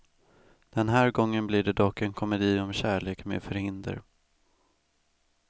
Den här gången blir det dock en komedi, om kärlek med förhinder.